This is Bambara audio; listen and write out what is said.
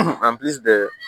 an pili de